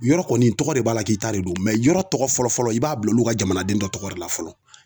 Yɔrɔ kɔni tɔgɔ de b'a la k'i ta de don mɛ yɔrɔ tɔgɔ fɔlɔ fɔlɔ i b'a bila olu ka jamanaden dɔ tɔgɔ de la fɔlɔ